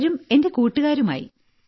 പലരും എന്റെ കൂട്ടുകാരുമായി